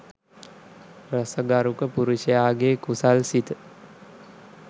රස ගරුක පුරුෂයාගේ කුසල් සිත